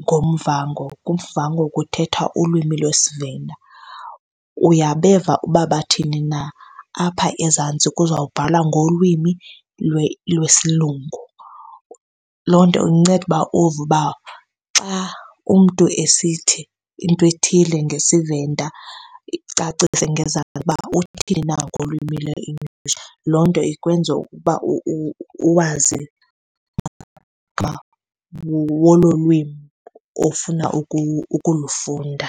ngoMuvhango, kuMuvhango kuthethwa ulwimi lwesiVenda. Uyabeva uba bathini na, apha ezantsi kuzobhalwa ngolwimi lwesilungu. Loo nto inceda ukuba uve ukuba xa umntu esithi into ethile ngesiVenda, icacise ngezantsi uba uthini na ngolwimi lweEnglish. Loo nto ikwenza ukuba uwazi wolo lwimi ofuna ukulufunda.